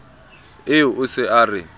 eo o se a re